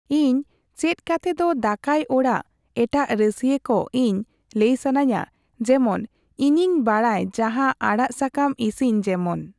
ᱤᱧ ᱪᱮᱫ ᱠᱟᱛᱮ ᱫᱚ ᱫᱟᱠᱟᱭ ᱚᱲᱟᱜ ᱮᱴᱟᱜ ᱨᱟᱥᱤᱭᱟᱹ ᱠᱚ ᱤᱧ ᱞᱟᱹᱭ ᱥᱟᱱᱟᱹᱧᱟ ᱡᱮᱢᱚᱱ ᱤᱧᱤᱧ ᱵᱟᱲᱟᱭ ᱡᱟᱦᱟᱸ ᱟᱲᱟᱜ ᱥᱟᱠᱟᱢ ᱤᱥᱤᱱ ᱡᱮᱢᱚᱱ,